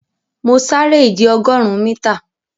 Mọ̀ sárẹ̀ ìjẹ̀ ogórùn míta.